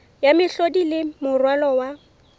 ya mehlodi le moralo wa